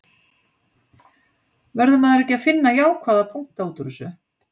Verður maður ekki að finna jákvæða punkta útúr þessu?